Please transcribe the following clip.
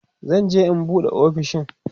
zan je in an buɗe ofishin